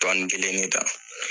kelen